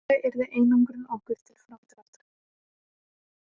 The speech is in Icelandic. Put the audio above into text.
Tæplega yrði einangrun okkur til framdráttar